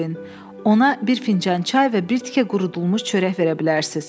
Ona bir fincan çay və bir tikə qurudulmuş çörək verə bilərsiz.